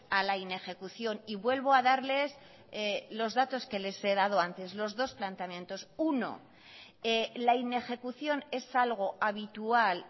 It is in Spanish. a la inejecución y vuelvo a darles los datos que les he dado antes los dos planteamientos uno la inejecución es algo habitual